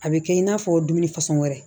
A bɛ kɛ i n'a fɔ dumuni fɛnsɔn wɛrɛ